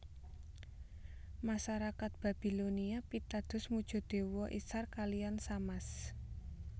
Masarakat Babilonia pitados muja dewa Isthar kaliyan Shamash